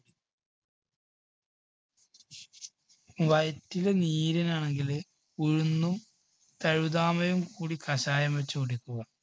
വയറ്റില് നീരാണെങ്കില് ഉഴുന്നും തഴുതാമയും കൂടി കഷായം വെച്ചു കുടിക്കുക.